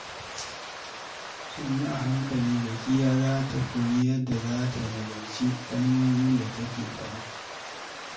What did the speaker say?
Sannu a hankali, Zakiyya za ta koyi yadda za ta nazarci kalmomin da take faɗa.